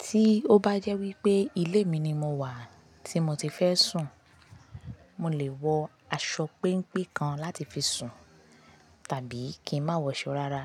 Tí ó bá jẹ́ wípé ilé mi ni mo wà tí mo ti fẹ́ sùn, mo lè wọ aṣọ péńpé kan láti fi sùn tàbí kí n má wọ aṣọ rárá.